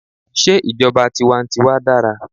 Sé ìjọba tiwa n tiwa dára?